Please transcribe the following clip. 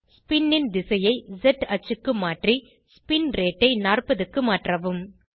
spin ன் திசையை ஸ் அச்சுக்கு மாற்றி ஸ்பின் ரேட் ஐ 40 க்கு மாற்றவும்